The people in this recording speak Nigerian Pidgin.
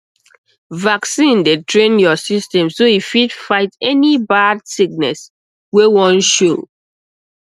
vaccine dey train your system so e fit fight any bad sickness wey wan show